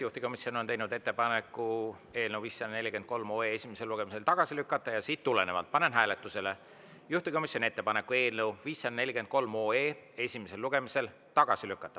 Juhtivkomisjon on teinud ettepaneku eelnõu 543 esimesel lugemisel tagasi lükata ja sellest tulenevalt panen hääletusele juhtivkomisjoni ettepaneku eelnõu 543 esimesel lugemisel tagasi lükata.